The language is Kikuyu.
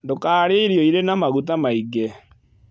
Ndũkarĩe irio ĩrĩ na magũta maĩngĩ